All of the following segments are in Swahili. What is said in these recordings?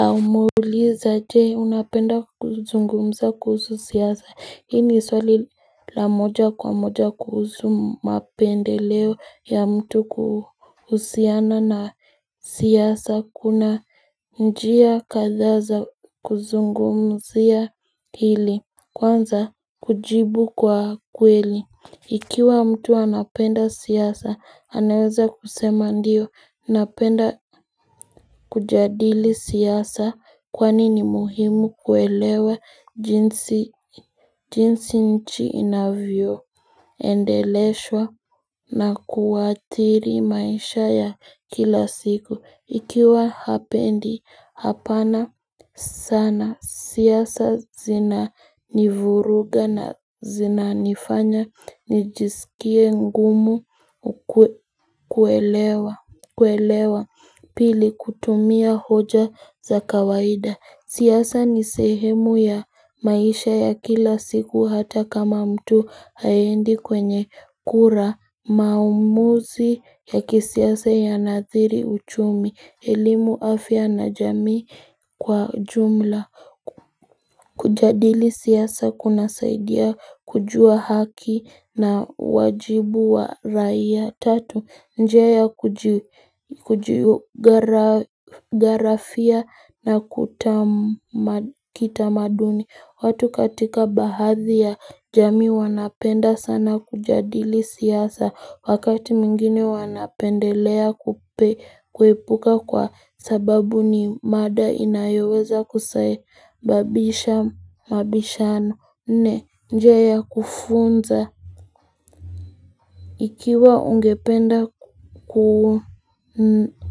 Umeuliza je unapenda kuzungumza kuhusu siasa, hii ni swali la moja kwa moja kuhusu mapendeleo ya mtu kuhusiana na siasa kuna njia kathaa za kuzungumzia hili Kwanza kujibu kwa kweli Ikiwa mtu anapenda siasa, anaweza kusema ndio napenda kujadili siasa kwani ni muhimu kuelewa jinsi nchi inavyoendeleshwa na kuwathiri maisha ya kila siku. Ikiwa hapendi hapana sana siasa zinanivuruga na zinanifanya nijisikie ngumu kuelewa pili kutumia hoja za kawaida. Siasa ni sehemu ya maisha ya kila siku hata kama mtu haendi kwenye kura maamuzi ya kisiasa yanadhiri uchumi elimu afya na jamii kwa ujumla Kujadili siasa kunasaidia kujua haki na wajibu wa raia Tatu njia ya kujigarafia na kitamaduni watu katika baadhi ya jamii wanapenda sana kujadili siasa Wakati mwingine wanapendelea kuipuka kwa sababu ni mada inayoweza kusababisha mabishano nne njia ya kufunza Ikiwa ungependa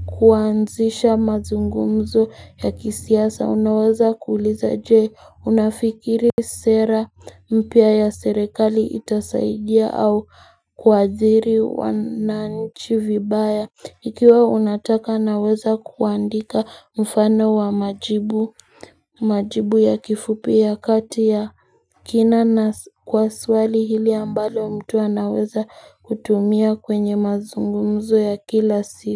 kuanzisha mazungumzo ya kisiasa. Unaweza kuuliza je unafikiri sera mpya ya serekali itasaidia au kuathiri wananchi vibaya. Ikiwa unataka naweza kuandika mfano wa majibu ya kifupi ya kati ya kina na kwa swali hili ambalo mtu anaweza kutumia kwenye mazungumzo ya kila siku.